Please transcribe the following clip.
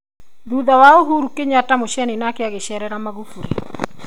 Thutha wa Uhuru Kenyatta Museni nake gucerera Maghufuli